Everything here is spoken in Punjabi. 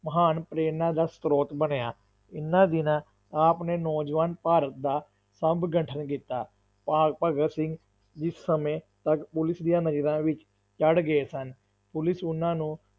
ਮਹਾਨ ਪ੍ਰੇਰਣਾ ਦਾ ਸ੍ਰੋਤ ਬਣਿਆ, ਇਹਨਾਂ ਦਿਨਾਂ ਆਪ ਨੇ ਨੌਜਵਾਨ ਭਾਰਤ ਦਾ ਸਭ ਗਠਨ ਕੀਤਾ, ਭ~ ਭਗਤ ਸਿੰਘ ਜਿਸ ਸਮੇਂ ਤੱਕ ਪੁਲਿਸ ਦੀਆਂ ਨਜ਼ਰਾਂ ਵਿੱਚ ਚੜ੍ਹ ਗਏ ਸਨ, ਪੁਲਿਸ ਉਹਨਾਂ ਨੂੰ